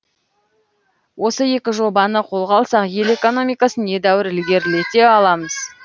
осы екі жобаны қолға алсақ ел экономикасын едәуір ілгерілете аламыз